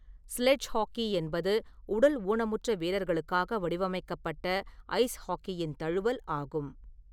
Sledge hockey என்பது உடல் ஊனமுற்ற வீரர்களுக்காக வடிவமைக்கப்பட்ட ஐஸ் ஹாக்கியின் தழுவல் ஆகும்.